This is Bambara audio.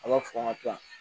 A b'a fɔ n ka to yan